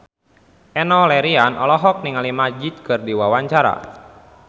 Enno Lerian olohok ningali Magic keur diwawancara